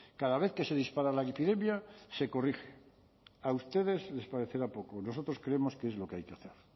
cada vez que se dispara la epidemia se corrige a ustedes les parecerá poco nosotros creemos que es lo que hay que hacer